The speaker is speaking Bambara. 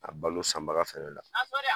A balo sanbaga fɛnɛ la.